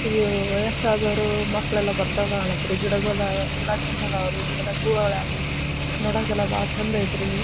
ಇದು ವಯಸ್ಸಾದವ್ರು ಮಕ್ಕಳ ಎಲ್ಲಾ ಬರ್ತಾವ ಕಾಣುತ್ತ್ರಿ. ಗಿಡಿಗೊಳ್ಡಾಗ್ ಗಿಡ ಚಂದ್ ಅದಾವ್ ರೀ. ಗಿಡದಾಗ್ ಹೂವ ಅರ್ಲ್ಯಾವ್ ರೀ. ನೋಡಾಕ್ ಯಲ್ಲ ಬಹಳ ಚೆಂದ ಅಯ್ತ್ರಿ.